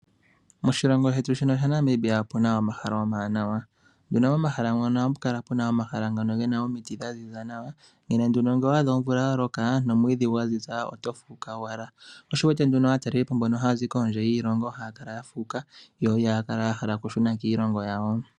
Moshilongo shetu shino sha Namibia opuna omahala omawanawa. Nena pohala mono ohamu kala puna omahala ngono gena omiti dha ziza nawa. Nena nduno ngele owa adha omvula ya loka, nomwiidhi gwa ziza oto fuuka owala. Sho osho wuwete nduno aatalelipo mbono haya zi kondje yiilongo haya kala ya fuuka, yo ihaya kala ya hala okushuna kiilongo yawo.